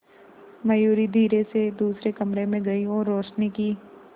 मयूरी धीरे से दूसरे कमरे में गई और रोशनी की